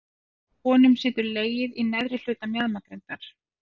Hjá konum situr legið í neðri hluta mjaðmagrindar.